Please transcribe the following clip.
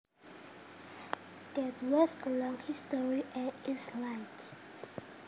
that has a long history and is liked